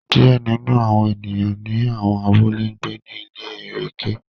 Diẹ ninu awọn eniyan ni awọn abule n gbe ni ile ẹrẹkẹ